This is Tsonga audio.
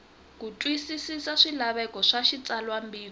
ku twisisa swilaveko swa xitsalwambiko